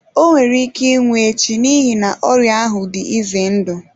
O nwere ike ịnwụ echi n'ihi na ọrịa ahụ dị ize ndụ.